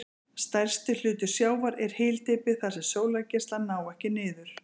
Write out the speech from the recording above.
Stærstur hluti sjávar er hyldýpi þar sem sólargeislar ná ekki niður.